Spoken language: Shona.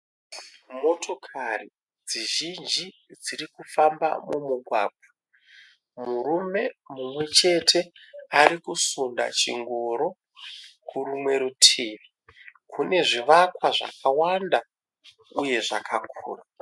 Motokari dzizhinji dziri kufamba mumugwagwa murume mumwe chete ari kusunda chingoro kurimwe rutivi kune zvivakwa zvakawanda uye zvakakura.